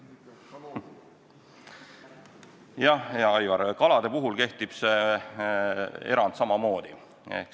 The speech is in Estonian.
Jah, hea Aivar, kalade puhul kehtib see erand samamoodi.